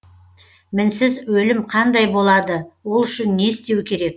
мінсіз өлім қандай болады ол үшін не істеу керек